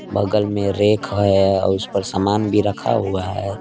बगल में रैक आया उस पर सामान भी रखा हुआ है।